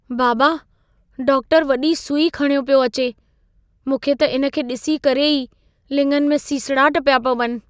बाबा, डाक्टरु वॾी सुई खणियो पियो अचे। मूंखे त इन खे ॾिसी करे ई लिङनि में सीसड़ाट पिया पवनि।